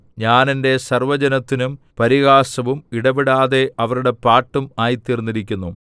ഞാൻ എന്റെ സർവ്വജനത്തിനും പരിഹാസവും ഇടവിടാതെ അവരുടെ പാട്ടും ആയിത്തീർന്നിരിക്കുന്നു